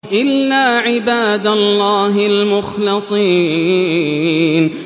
إِلَّا عِبَادَ اللَّهِ الْمُخْلَصِينَ